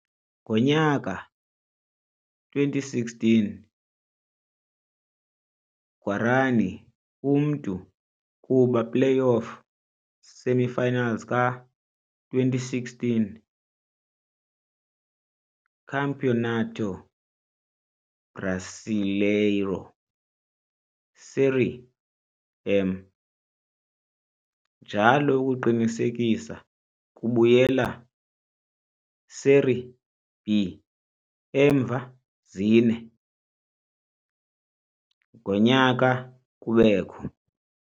Ngo-2016, Guarani umntu kuba playoff semifinals ka - 2016 Campeonato Brasileiro Série M, njalo ukuqinisekisa kubuyela Serie B emva zine --- -ngonyaka kubekho.